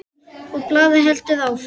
Og blaðið heldur áfram